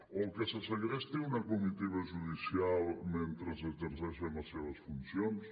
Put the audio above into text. o que se segresti una comitiva judicial mentre exerceixen les seves funcions